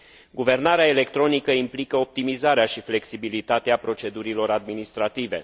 Guvernarea electronică implică optimizarea și flexibilitatea procedurilor administrative.